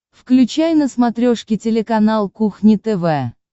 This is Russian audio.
включай на смотрешке телеканал кухня тв